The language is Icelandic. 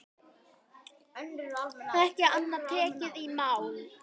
Ekki annað tekið í mál.